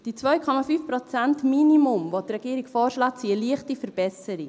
Dieses 2,5-Prozent-Minimum, das die Regierung vorschlägt, ist eine leichte Verbesserung.